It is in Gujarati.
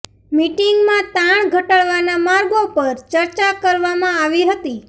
મીટિંગમાં તાણ ઘટાડવાના માર્ગો પર ચર્ચા કરવામાં આવી હતી